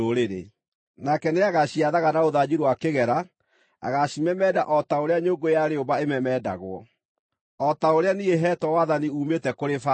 ‘Nake nĩagaciathaga na rũthanju rwa kĩgera; agaacimemenda o ta ũrĩa nyũngũ ya rĩũmba ĩmemendagwo,’ o ta ũrĩa niĩ heetwo wathani uumĩte kũrĩ Baba.